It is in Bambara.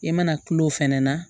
I mana kulo fana na